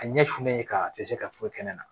A ɲɛ fulen ka tɛ se ka foyi kɛ ne na